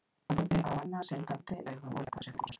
Hann horfir á hana syndandi augum og leggur frá sér þrjú glös.